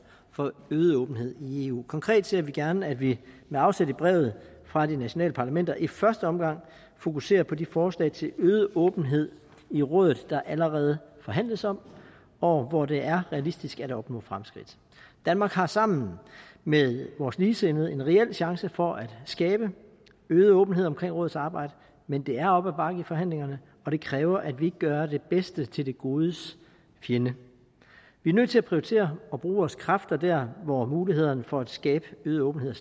for øget åbenhed i eu konkret ser vi gerne at vi med afsæt i brevet fra de nationale parlamenter i første omgang fokuserer på de forslag til øget åbenhed i rådet der allerede forhandles om og hvor det er realistisk at opnå fremskridt danmark har sammen med vores ligesindede en reel chance for at skabe øget åbenhed omkring rådets arbejde men det er op ad bakke i forhandlingerne og det kræver at vi ikke gør det bedste til det godes fjende vi er nødt til at prioritere og bruge vores kræfter der hvor mulighederne for at skabe øget åbenhed